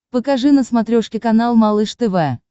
покажи на смотрешке канал малыш тв